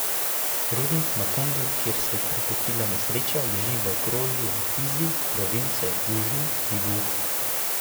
Rudnik Makungu, kjer se je pripetila nesreča, leži v okrožju Fizi province Južni Kivu.